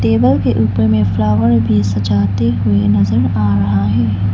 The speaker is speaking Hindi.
टेबल के ऊपर में फ्लावर भी सजाते हुए नजर आ रहा है।